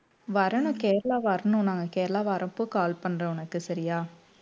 வரணும் கேரளா வரணும் நான் கேரளா வரப்போ call பண்றேன் உனக்கு சரியா